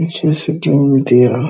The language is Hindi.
नीचे सेटरिंग भी दिया है।